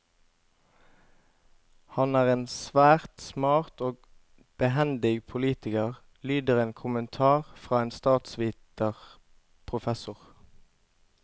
Han er en svært smart og behendig politiker, lyder en kommentar fra en statsviterprofessor.